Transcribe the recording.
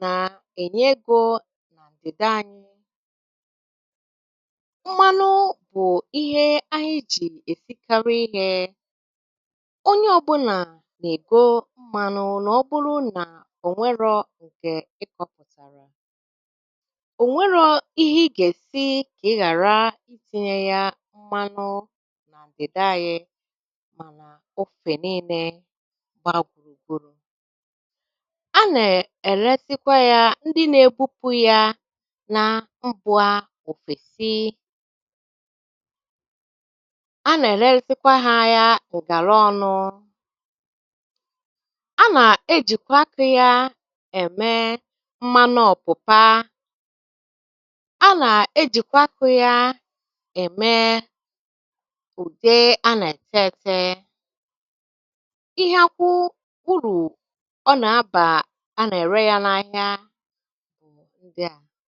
na-enye ego na ndịda anyị. Mmanụ bụ a ihe e ji esikarị ihe. Onye ọbụla na-ege mmanụ ma ọ bụrụ na o nweghi nke ị kọpụtara. O nwerọ́ ihe ị ga-esi ka ị gharị itinye ya mmanụ na ndịda anyị ma n'ófe niile gbara gburugburu. A na-eresịkwa ya ndị na-ebupu ya mba ofesi. A na-eresịkwa ha ya ngarọnụ. A na-ejikwa akị ya eme mmanụ ọ̀pụ̀pá. A na-ejikwa akụ́ ya eme ùdé a na-ete ete. Ihe akwụ́ uru ọ bara a na-ere ya n'ahịa. Ya